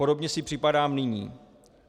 Podobně si připadám nyní.